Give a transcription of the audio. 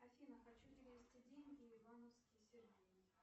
афина хочу перевести деньги ивановский сергей